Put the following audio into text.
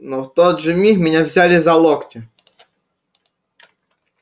но в тот же миг меня взяли за локти